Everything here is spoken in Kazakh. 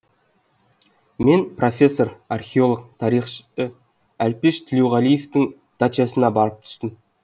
мен профессор археолог тарихшы әлпеш төлеуғалиевтың дачасына барып түстім